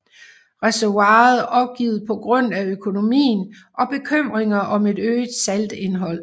Reservoiret opgivet på grund af økonomien og bekymringer om et øget saltindhold